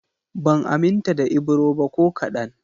Ban aminta da Ibro ba ko kaɗan